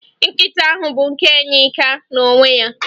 Nkịta ahụ bụ nke Yinka n'onwe ya